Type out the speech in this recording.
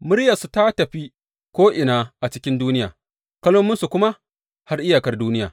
Muryarsu ta tafi ko’ina a cikin duniya, kalmominsu kuma har iyakar duniya.